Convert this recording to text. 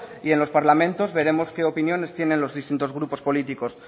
y en los parlamentos veremos que opiniones tienen los distintos grupos políticos